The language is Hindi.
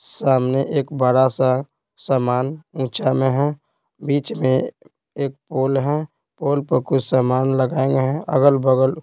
सामने एक बड़ा सा सामान ऊचां में है बीच में एक पोल है पोल पर कुछ सामान लगाये अगल-बगल--